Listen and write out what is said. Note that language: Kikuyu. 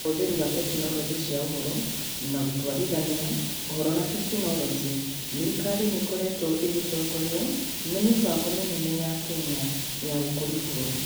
Ũhũthĩri wa Tekinoronjĩ cia Ũhoro na Gũtwarithania (Ũhoro na Teknorojis) thirikari-inĩ ũkoretwo ũgĩtongorio nĩ mĩbango mĩnene ya Kenya ya gũkũria bũrũri.